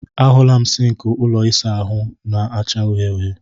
A hụla m sịnkị ụlọ ịsa ahụ na-acha uhie uhie.